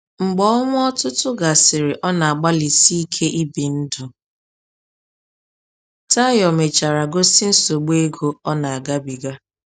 Mgbe ọnwa ọtụtụ gasịrị ọ na-agbalịsi ike ibi ndụ, Tayo mechara gosi nsogbu ego ọ na-agabiga.